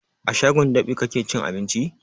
A shagon dab'i kake cin abinci?